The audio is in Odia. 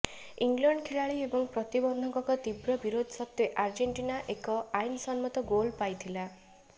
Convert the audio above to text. ଇଂଲଣ୍ଡ ଖେଳାଳି ଏବଂ ପ୍ରବନ୍ଧକଙ୍କ ତୀବ୍ର ବିରୋଧ ସତ୍ତ୍ବେ ଆର୍ଜେଣ୍ଟିନା ଏକ ଆଇନସମ୍ମତ ଗୋଲ୍ ପାଇଥିଲା